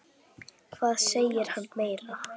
Hvað segir hann meira?